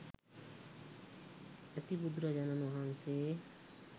ඇති බුදුරජාණන් වහන්සේ